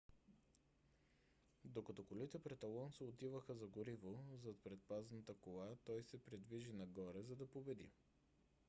докато колите пред алонсо отиваха за гориво зад предпазната кола той се придвижи нагоре за да победи